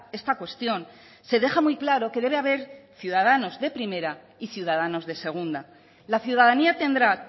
esta cuestión se deja muy claro que debe haber ciudadanos de primera y ciudadanos de segunda la ciudadanía tendrá